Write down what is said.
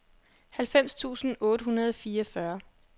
halvfems tusind otte hundrede og fireogfyrre